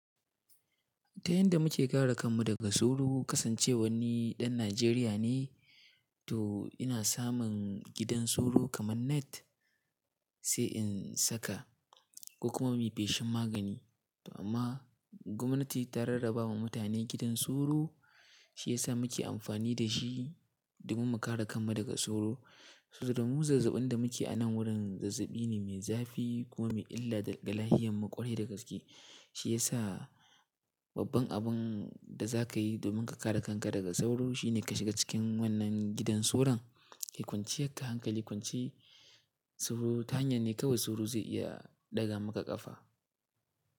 Ta yanda muke kare kanmu daga sauro kasancewa ni ɗan Najeriya ne, to ina samun gidan sauro kaman Net sai in saka kuma mai feshin magani. Amma gwamnati ta rarraba ma mutane gidan sauro, shi yasa muke amfani da shi domin mu kare kanmu daga sauro. Saboda mu zazzabin da muke anan wurin zazzabi ne mai zafi kuma mai illa da galahiyan maƙwalye da gaske. Shi yasa babban abun da za ka yi domin ka kare kanka daga sauro shine ka shiga cikin wannan gidan sauron kai kwance haka hankali kwance sauro. Ta hanyar ne kawai sauro zai iya ɗaga muka kafa.